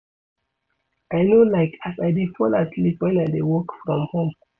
I no like as I dey fall asleep wen I dey work from home.